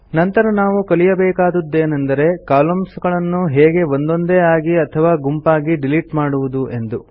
ನಂತರ ನಾವು ಕಲಿಯಬೇಕಾದದ್ದು ಏನೆಂದರೆ ಕಾಲಮ್ನ್ಸ್ ಗಳನ್ನು ಹೇಗೆ ಒಂದೊಂದೇ ಆಗಿ ಅಥವಾ ಗುಂಪಾಗಿ ಡಿಲಿಟ್ ಮಾಡುವುದು ಎಂದು